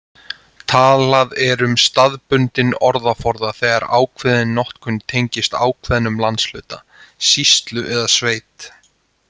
Talað er um staðbundinn orðaforða þegar ákveðin notkun tengist ákveðnum landshluta, sýslu eða sveit.